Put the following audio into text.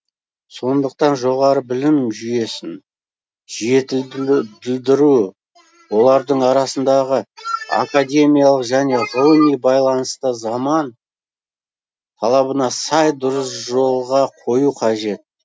сондықтан жоғары білім жүйесін жетілдідіру олардың арасындағы академиялық және ғылыми байланысты заман талабына сай дұрыс жолға қою қажет